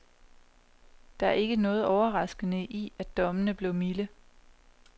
Der er ikke noget overraskende i, at dommene blev milde.